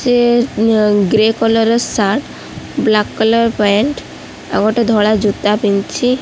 ଏ ଞ୍ଜ grey colour ର shirt black colour pant ଆଉ ଗୋଟେ ଧଳା ଜୋତା ପିନ୍ଧିଚି।